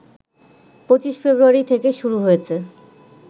২৫ ফেব্রুয়ারি থেকে শুরু হয়েছে